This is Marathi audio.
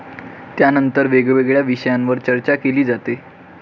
त्यानंतर वेगवेगळ्या विषयांवर चर्चा केली जाते.